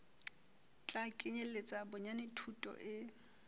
tla kenyeletsa bonyane thuto e